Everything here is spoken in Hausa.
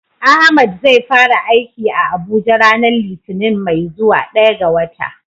Ahmad zai fara aiki a Abuja ranar litinin mai zuwa, daya ga wata.